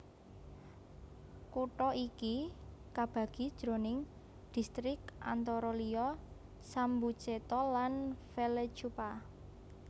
Kutha iki kabagi jroning distrik antara liya Sambuceto lan Vallecupa